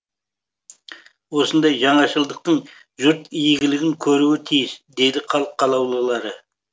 осындай жаңашылдықтың жұрт игілігін көруі тиіс дейді халық қалаулылары